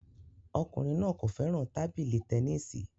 Ọkùnrin náà kò fẹ́ràn tábìlì tẹnisi